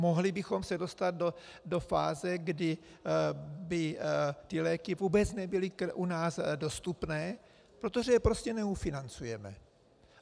Mohli bychom se dostat do fáze, kdy by ty léky vůbec nebyly u nás dostupné, protože je prostě neufinancujeme.